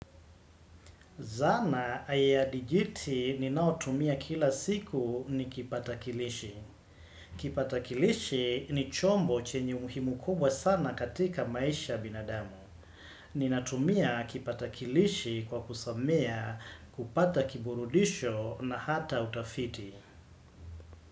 Zana ya dijiti ninaotumia kila siku ni kipatakilishi. Kipatakilishi ni chombo chenye umuhimu kubwa sana katika maisha ya binadamu. Ninatumia kipatakilishi kwa kusomea kupata kiburudisho na hata utafiti.